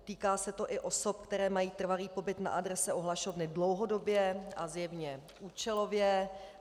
Týká se to i osob, které mají trvalý pobyt na adrese ohlašovny dlouhodobě a zjevně účelově.